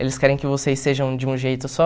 Eles querem que vocês sejam de um jeito só.